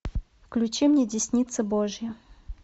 включи мне десница божья